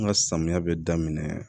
An ka samiya bɛ daminɛ